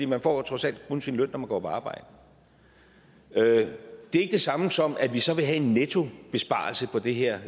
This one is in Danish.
man får trods alt kun sin løn når man går på arbejde det er ikke det samme som at vi så vil have en nettobesparelse på det her